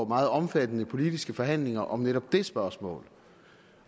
meget omfattende politiske forhandlinger om netop det spørgsmål